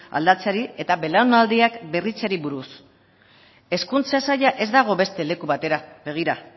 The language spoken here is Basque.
aldatzeari eta belaunaldiak berritzeari buruz hezkuntza saila ez dago beste leku batera begira